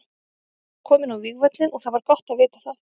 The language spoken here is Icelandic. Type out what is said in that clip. Ég var kominn á vígvöllinn og það var gott að vita það.